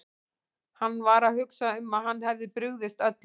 Hann var að hugsa um að hann hefði brugðist öllum.